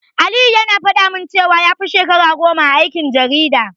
Aliyu yana faɗa min cewa ya fi shekara goma a aikin jarida.